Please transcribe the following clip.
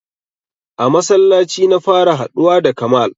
A masallaci na fara haɗuwa da kamal